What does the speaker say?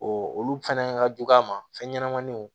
olu fɛnɛ ka jugu a ma fɛn ɲɛnɛmaniw